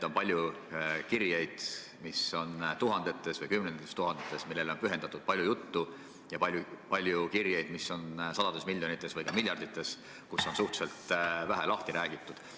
On palju kirjeid, mis on tuhandetes või kümnetes tuhandetes, millele on pühendatud palju juttu, ja on palju kirjeid, mis on sadades miljonites või ka miljardites ning mis on suhteliselt vähe lahti räägitud.